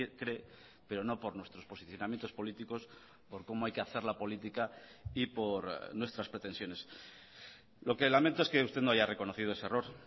cree pero no por nuestros posicionamientos políticos por cómo hay que hacer la política y por nuestras pretensiones lo que lamento es que usted no haya reconocido ese error